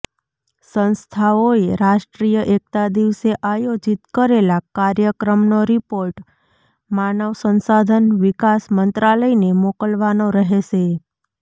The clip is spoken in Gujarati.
સંસ્થાઓએ રાષ્ટ્રીય એક્તા દિવસે આયોજીત કરેલા કાર્યક્રમનો રિપોર્ટ માનવ સંસાધન વિકાસ મંત્રાલયને મોકલવાનો રહેશે